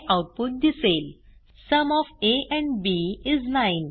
हे आऊटपुट दिसेल sum of a and b is 9